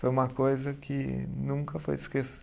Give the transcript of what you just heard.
Foi uma coisa que nunca vou